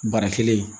Bara kelen